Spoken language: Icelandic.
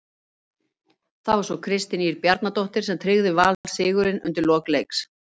Það var svo Kristín Ýr Bjarnadóttir sem tryggði Val sigurinn undir lok leiks.